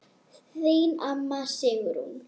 Þín amma, Sigrún.